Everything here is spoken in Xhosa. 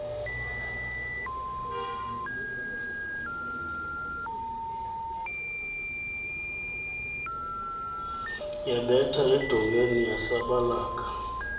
yabetha edongeni yasabalaka